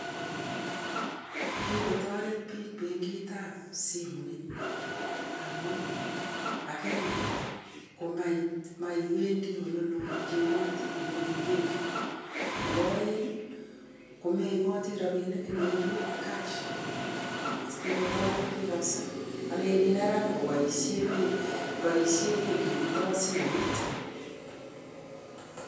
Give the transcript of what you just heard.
Kikotoret bik bankit ab stimet amuu maiwendi oleloo icheng'ei robinik amu mi simet